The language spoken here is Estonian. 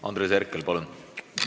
Andres Herkel, palun!